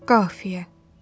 Qafiyə.